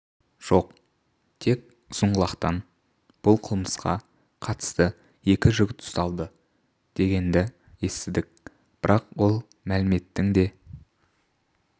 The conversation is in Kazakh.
жоқ тек ұзынқұлақтан бұл қылмысқа қатысты екі жігіт ұсталды дегенді естідік бірақ ол мәліметтің де